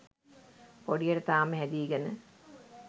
පොඩියට තාම හැදීගෙන.